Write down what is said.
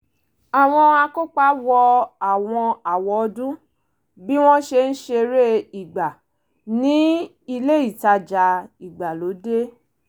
àwọn akópa wọ àwọn àwọ̀ ọdún bí wọ́n ṣe ń ṣeré eré ìgbà ní ilé ìtajà ìgbàlódé